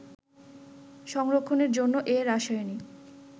সংরক্ষণের জন্য এ রাসায়নিক